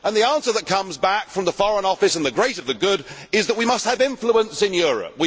The answer that comes back from the Foreign Office and the great and the good is that we must have influence in Europe.